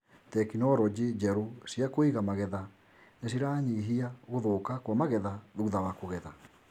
Tekinoronjĩ njerũ cia kũiga magetha nĩ ciranyihia gũthũka kwa magetha thutha wa kũgetha.